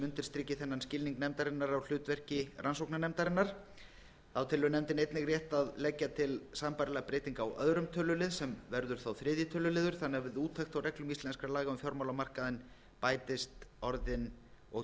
undirstriki þennan skilning nefndarinnar á hlutverki rannsóknarnefndarinnar þá telur nefndin einnig rétt að leggja til sambærilega breytingu á öðrum tölulið sem verður þá þriðja tölulið þannig að við úttekt á reglum íslenskra laga um fjármálamarkaðinn bætist orðin og